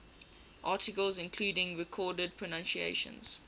articles including recorded pronunciations